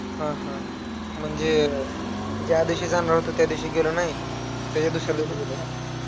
हम्म म्हणजे, ज्या दिवशी जाणार होता, त्या दिवशी गेला नाई, त्याच्या दुसऱ्या दिवशी गेला का?